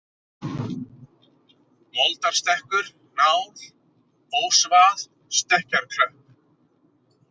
Moldarstekkur, Nál, Ósvað, Stekkjarklöpp